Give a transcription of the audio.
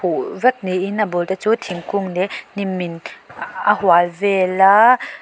huh vek niin a bul te chu thingkung leh hnim in a hual vel a.